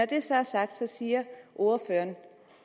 det så er sagt siger ordføreren